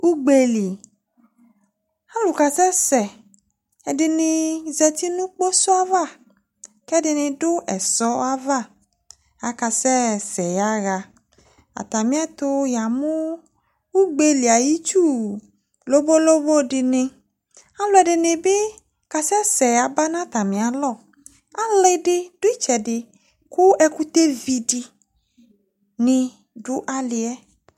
ugbɛli ɑlukasese ɛdini zɑti nu kposoava kedini du ɛsoava ɑkaseseyaha ɑtamietu yɑmu ugbeli ɑyitsu lobolobo dini ɑluedinibi ɑluedinibi kɑseseyaba nɑtamialɔ ku ɑlidi du itsedi ku ɛkutevidini du ɑlie